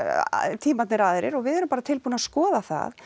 tímarnir aðrir og við erum bara tilbúin að skoða það